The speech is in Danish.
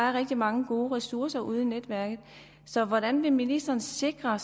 er rigtig mange gode ressourcer ude i netværket så hvordan vil ministeren sikre